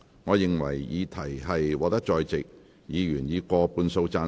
我認為議題獲得在席議員以過半數贊成。